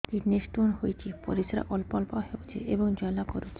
kidney stone ହୋଇଛି ପରିସ୍ରା ଅଳ୍ପ ଅଳ୍ପ ହେଉଛି ଏବଂ ଜ୍ୱାଳା କରୁଛି